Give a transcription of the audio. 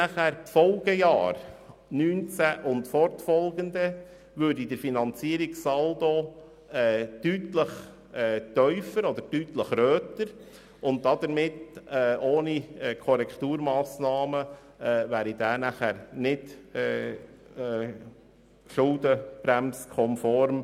In den Folgejahren 2019 und fortfolgende würde der Finanzierungssaldo deutlich tiefer ausfallen, und ohne Korrekturmassnahmen wäre er nicht konform mit der Schuldenbremse.